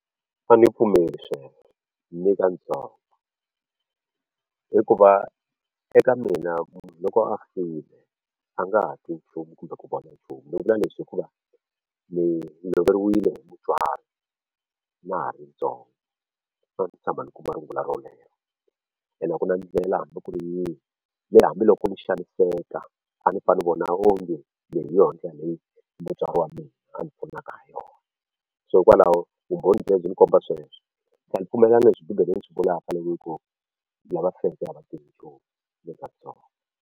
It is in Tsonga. A ni pfumeli sweswo ni katsongo hikuva eka mina munhu loko a file a nga ha twi nchumu kumbe ku vona nchumu ni vula leswi hikuva ni loveriwile hi mutswari na ha rintsongo so a ni se tshama ni kuma rungula rolero ene a ku na ndlela hambi ku ri yihi leyi hambiloko ni xaniseka a ni fane ni vona onge leyi hi yona ndlela leyi mutswari wa mina a ni pfunaka ha yona so hikwalaho vumbhoni byebyi byi ni komba sweswo ni tlhela pfumela na leswi Bibele yi swi vulaka loko yi ku lava feke a va vatirhi nchumu ni katsongo.